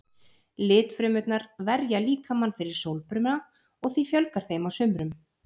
Litfrumurnar verja líkamann fyrir sólbruna og því fjölgar þeim á sumrum.